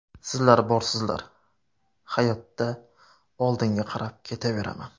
Sizlar borsizlar, hayotda oldinga qarab ketaveraman.